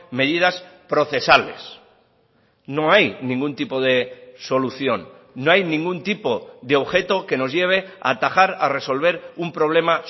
medidas procesales no hay ningún tipo de solución no hay ningún tipo de objeto que nos lleve a atajar a resolver un problema